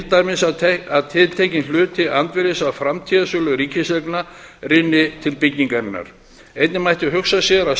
dæmis að tiltekinn hluti andvirðis af framtíðarsölu ríkiseigna rynni til byggingarinnar einnig mætti hugsa sér að